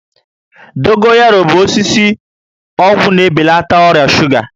Dogoyaro bụ osisi ọgwụ na-ebelata ọrịa shuga